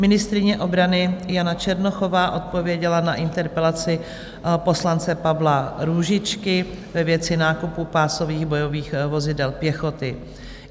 Ministryně obrany Jana Černochová odpověděla na interpelaci poslance Pavla Růžičky ve věci nákupu pásových bojových vozidel pěchoty.